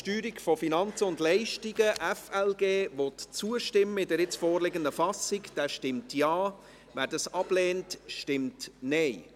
Wer dem FLG in der nun vorliegenden Fassung zustimmen will, stimmt Ja, wer dieses ablehnt, stimmt Nein.